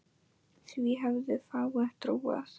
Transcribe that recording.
Því hefðu fáir trúað.